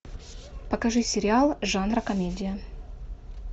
покажи сериал жанра комедия